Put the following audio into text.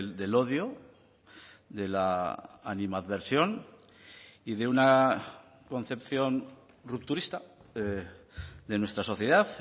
del odio de la animadversión y de una concepción rupturista de nuestra sociedad